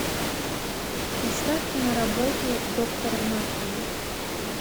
поставь киноработу доктор мафии